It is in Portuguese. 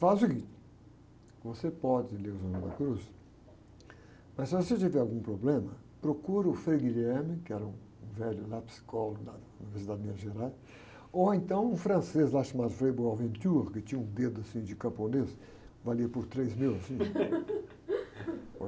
Faz o seguinte, você pode ler o Juan de la Cruz, mas se você tiver algum problema, procura o Frei, que era um velho lá psicólogo, das Minas Gerais, ou então um francês lá chamado frei, que tinha um dedo assim de camponês, valia por três meus, assim.